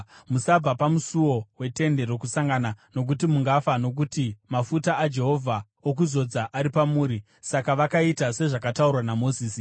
Musabva pamusuo weTende Rokusangana nokuti mungafa nokuti mafuta aJehovha okuzodza ari pamuri.” Saka vakaita sezvakataurwa naMozisi.